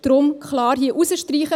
Deshalb hier klar herausstreichen.